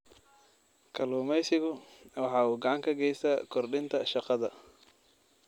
Kalluumaysigu waxa uu gacan ka geystaa kordhinta shaqada.